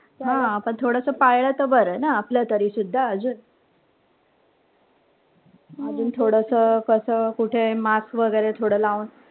हा पण थोडं पाळलं तर बरं ना आपलं तरीसुद्धा अजून. अजून थोडस असं कुठे mask वगैरे थोडं लावून.